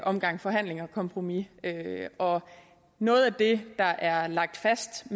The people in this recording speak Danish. omgang forhandlinger og kompromiser og noget af det der er lagt fast